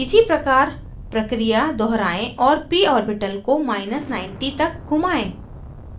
इसी प्रकार प्रक्रिया दोहराएं और p orbital को90 तक घुमाएं